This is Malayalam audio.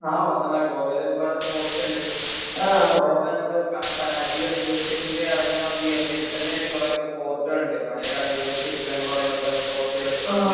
ആ വന്നോടാ. ഗോവയിൽ ഒരുപാട് ഫോർട്ട് ഉണ്ട്. ഗോവയിൽ നമ്മൾ പനാജി റെയിൽവേ സ്റ്റേഷനിൽ ഇറങ്ങുകയാണെങ്കിൽ അതിൽ അവിടെ തന്നെയായിട്ട് കുറെ ഫോർട്ടുകളുണ്ട്. പഴയ കാല ഇന്ത്യയുടെ ചരിത്രങ്ങൾ പറയുന്ന കുറെ ഫോർട്ടുകളുണ്ട്. പിന്നെ